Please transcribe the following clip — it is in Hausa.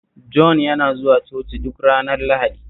Jon yana zuwa Coci duk ranar Lahadi